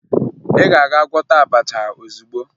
Ị ga-aga gwọta abacha ozugbo!